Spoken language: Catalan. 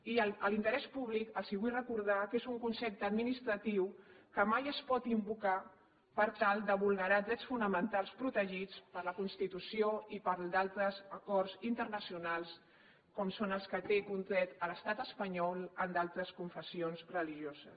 i l’interès públic els vull recordar que és un concepte administratiu que mai es pot invocar per tal de vulnerar drets fonamentals protegits per la constitució i per altres acords internacionals com són els que té contrets l’estat espanyol amb altres confessions religioses